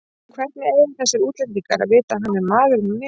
Hvernig eiga þessir útlendingar að vita að hann er maðurinn minn?